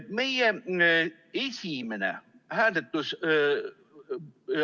Meie esimene hääletus ...